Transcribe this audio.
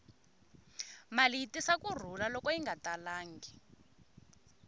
mali yi tisa ku rhula loko yi nga talangi